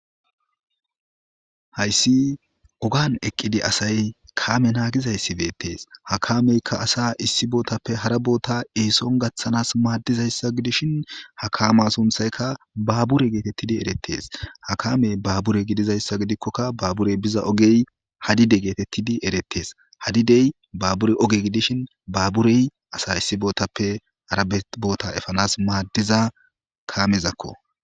Hayssi ogan eqqidi asay kaame naagizayssibeettees hakameykka asa issi bootappe hara boota ehison gaththanas maaddizayssa gidishin hakama sunthaykka baabure geetettidi erettees ha kamey baabure gidizayssa gidikkokka baaburey biza ogey hadide geetettidi erettes hadidey baabure oge gidishin baaburey asa issi bootappe hara boota efanas maaddiza kamezakko